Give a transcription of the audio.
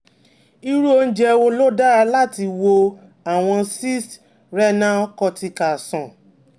Irú oúnjẹ wo ló dára láti wo àwọn cysts renal cortical sàn?